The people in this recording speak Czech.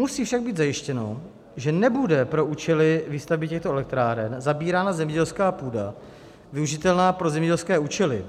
Musí však být zajištěno, že nebude pro účely výstavby těchto elektráren zabírána zemědělská půda využitelná pro zemědělské účely